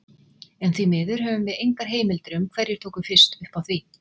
En því miður höfum við engar heimildir um hverjir tóku fyrst upp á því.